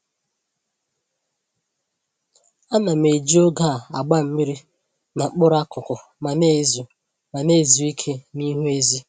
Ana m eji oge a agba mmiri na mkpụrụ akụkụ ma na-ezu ma na-ezu ike n'ihu ezi